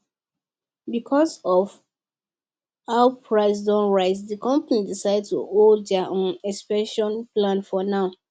because of how prices don rise the company decide to hold their um expansion plan for now